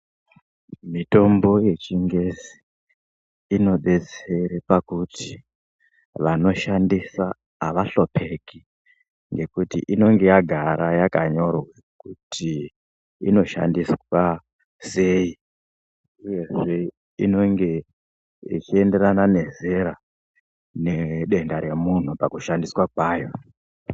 Mitombo yechingezi inodetsere pakuti vanoshandisa avahlupeki ngekuti inonga yagara yakanyorwa kuti inoshandiswa sei uyezve inenge ichienderana nezera nedenda remunhu pakushandiswa kwayo.